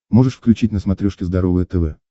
можешь включить на смотрешке здоровое тв